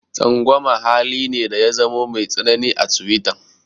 Tsangwama hali ne da ya zamo mai tsanani a tiwita.